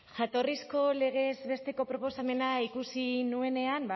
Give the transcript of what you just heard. jatorrizko legez besteko proposamena ikusi nuenean